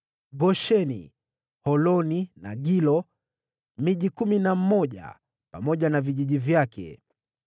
Gosheni, Holoni na Gilo; miji kumi na mmoja pamoja na vijiji vyake.